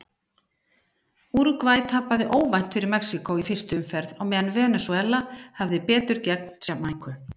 Úrúgvæ tapaði óvænt fyrir Mexíkó í fyrstu umferð á meðan Venesúela hafði betur gegn Jamaíku.